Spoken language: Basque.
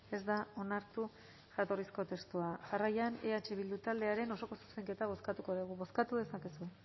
ez da onartu jatorrizko testua jarraian eh bildu taldearen osoko zuzenketa bozkatuko dugu bozkatu dezakezue